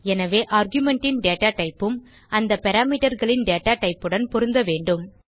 எனவே argumentன் datatypeஉம் அந்த parameterகளின் datatypeஉடன் பொருந்த வேண்டும்